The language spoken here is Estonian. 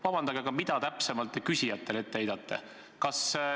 Vabandage, aga mida täpsemalt te küsijatele ette heidate?